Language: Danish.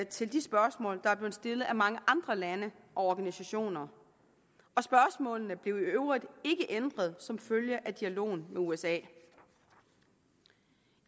til de spørgsmål der er blevet stillet af mange andre lande og organisationer spørgsmålene blev i øvrigt ikke ændret som følge af dialogen med usa